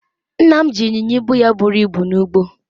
nna m ji inyinya ibu ya buru ibu n'ugbo